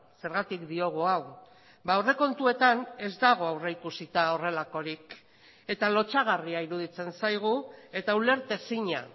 zergatik diogu hau aurrekontuetan ez dago aurrikusita horrelakorik eta lotsagarria iruditzen zaigu eta ulertezina